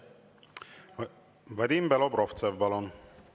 Vadim Belobrovtsev, palun!